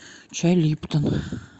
чай липтон